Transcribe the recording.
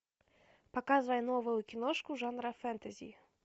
показывай новую киношку жанра фэнтези